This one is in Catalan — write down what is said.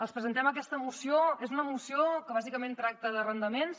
els presentem aquesta moció és una moció que bàsicament tracta d’arrendaments